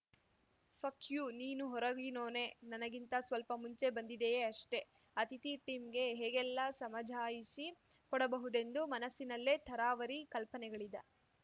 fuck you ನೀನೂ ಹೊರಗಿನೋನೆ ನನಗಿಂತ ಸ್ವಲ್ಪ ಮುಂಚೆ ಬಂದಿದಿಯ ಅಷ್ಟೆ ಅತಿಥಿ ಟಿಮ್‌ ಗೆ ಹೇಗೆಲ್ಲ ಸಮಝಾಯಿಷಿ ಕೊಡಬಹುದೆಂದು ಮನಸ್ಸಿನಲ್ಲೆ ಥರಾವರಿ ಕಲ್ಪನೆಗಳಿದ